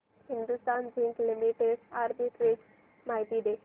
Hindustan Zinc Limited arbitrage माहिती दे